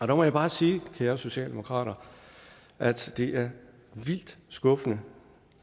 der må jeg bare sige kære socialdemokrater at det er vildt skuffende